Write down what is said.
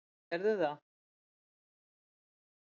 Þær gerðu það.